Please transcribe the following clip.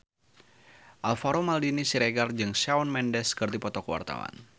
Alvaro Maldini Siregar jeung Shawn Mendes keur dipoto ku wartawan